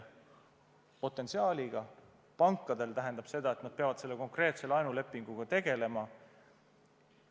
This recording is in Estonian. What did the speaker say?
Pankadele see tähendab seda, et nad peavad konkreetsete laenulepingutega tegelema.